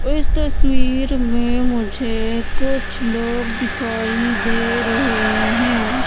इस तस्वीर में मुझे कुछ लोग दिखाई दे रहें हैं।